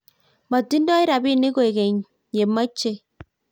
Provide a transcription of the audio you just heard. moting'doi robinik kwekeny ye mechei